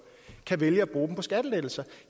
kan vælge at bruge på skattelettelser